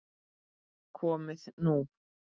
Komið nú